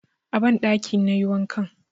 A banɗakin na yi wankan.